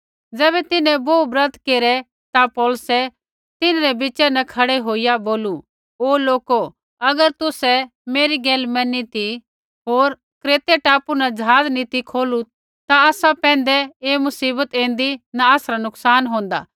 ज़ैबै तिन्हैं बोहू ब्रत केरै ता पौलुसै तिन्हरै बिच़ा न खड़ै होईया बोलू हे लोको अगर तुसै मेरी गैल मैनी ती होर क्रेत टापू न ज़हाज़ नी ती खोलू ता आसा पैंधै ऐ मुसीबत ऐन्दी न आसरा नुकसान होंदा